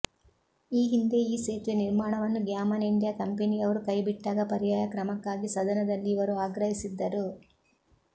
ಈ ಹಿಂದೆ ಈ ಸೇತುವೆ ನಿರ್ಮಾಣವನ್ನು ಗ್ಯಾಮನ್ ಇಂಡಿಯಾ ಕಂಪೆನಿಯವರು ಕೈ ಬಿಟ್ಟಾಗ ಪರ್ಯಾಯ ಕ್ರಮಕ್ಕಾಗಿ ಸದನದಲ್ಲಿ ಇವರು ಆಗ್ರಹಿಸಿದ್ದರು